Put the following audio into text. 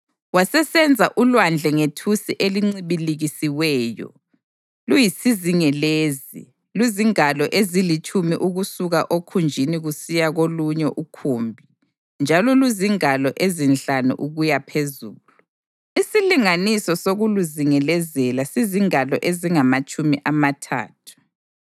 Wasesenza uLwandle ngethusi elincibilikisiweyo, luyisizingelezi, luzingalo ezilitshumi ukusuka okhunjini kusiya kolunye ukhumbi njalo luzingalo ezinhlanu ukuyaphezulu. Isilinganiso sokuluzingelezela sizingalo ezingamatshumi amathathu.